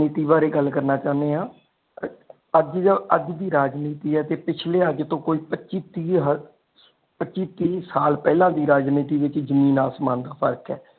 ਨੀਤੀ ਬਾਰੇ ਗੱਲ ਕਰਨਾ ਚਾਹਦੇ ਆ ਅੱਜ ਦੀ ਰਾਜਨੀਤੀ ਤੇ ਪਿਛਲੇ ਅੱਜ ਤੋਂ ਪੱਚੀ ਤੀਹ ਪੱਚੀ ਤੀਹ ਸਾਲ ਪਹਿਲਾ ਦੀ ਰਾਜਨੀਤੀ ਵਿਚ ਜਮੀਨ ਆਸਮਾਨ ਦਾ ਫ਼ਰਕ ਹੈ।